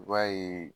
I b'a ye